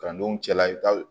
Kalandenw cɛla i bi taa